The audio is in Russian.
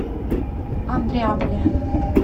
андреаполе